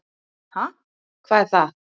"""Ha, hvað er það?"""